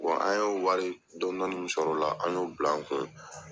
an y'o wari dɔɔnin dɔɔnin min sɔrɔla la an y'o bila an kun.